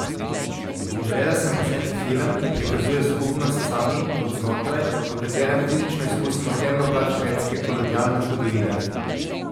Želela sem posneti film, ki prikazuje skupnost Sami od znotraj, v katerem fizično izkusimo temno plat švedske kolonialne zgodovine.